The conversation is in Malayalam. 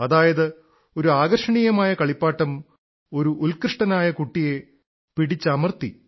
അതായത് ഒരു ആകർഷണീയമായ കളിപ്പാട്ടം ഒരു ഉത്കൃഷ്ടനായ കുട്ടിയെ പിടിച്ചമർത്തി